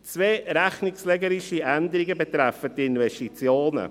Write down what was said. Zwei rechnungslegerische Änderungen betreffen die Investitionen.